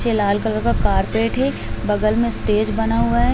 नीचे लाल कलर का कारपेट है बगल में स्टेज बना हुआ है।